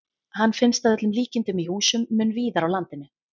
Hann finnst að öllum líkindum í húsum mun víðar á landinu.